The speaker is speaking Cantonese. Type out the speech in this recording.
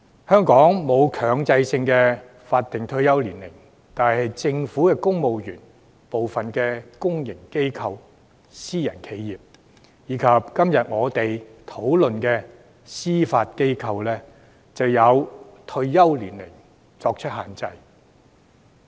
香港沒有強制法定退休年齡，但政府公務員、部分公營機構、私人企業，以及今天我們辯論涉及的司法機構，均有退休年齡限制。